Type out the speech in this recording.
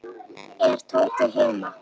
Er Tóti heima?